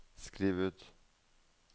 skriv ut